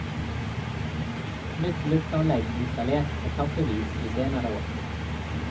Nytt lufteanlegg installert etappevis de senere år.